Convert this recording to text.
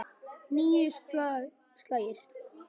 Níu slagir.